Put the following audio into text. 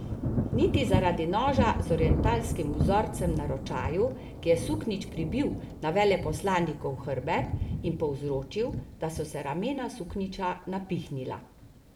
Niti zaradi noža z orientalskim vzorcem na ročaju, ki je suknjič pribil na veleposlanikov hrbet in povzročil, da so se ramena suknjiča napihnila.